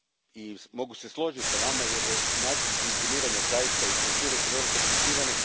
i mogu se složiti s vama, jer su način funkcioniranja i strukture zaista vrlo komplicirane.